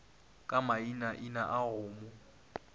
ka mainaina a go mo